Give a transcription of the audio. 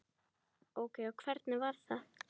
Ókei og hvernig var það?